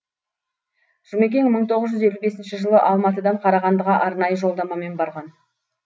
жұмекен мың тоғыз жүз елу бесінші жылы алматыдан қарағандыға арнайы жолдамамен барған